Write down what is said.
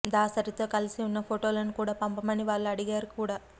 దాసరితో కలిసి ఉన్న ఫొటోలు కూడా పంపమని వాళ్లు అడిగారు కూడా